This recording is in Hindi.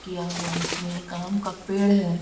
किया हुआ उसमें एक आम का पेड़ है।